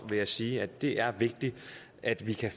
vil jeg sige at det er vigtigt at vi kan